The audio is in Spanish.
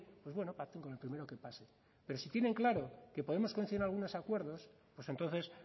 pues bueno pacten con el primero que pase pero si tienen claro que podemos coincidir en algunos acuerdos pues entonces